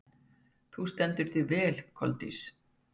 Þú stendur þig vel, Koldís!